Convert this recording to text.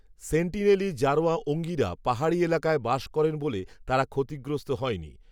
সেন্টিনেলি জারোয়া ওঙ্গিরা পাহাড়ি এলাকায় বাস করেন বলে তারা ক্ষতিগ্রস্ত হয়নি